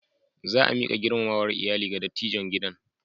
Za a miƙa girmamawar iyali ga dattijon gidan.